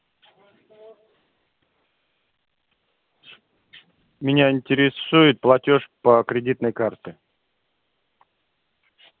меня интересует платёж по кредитной карте